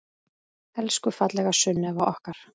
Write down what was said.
Elsku fallega Sunneva okkar.